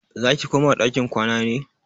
Zaki koma ɗakin kwana ne?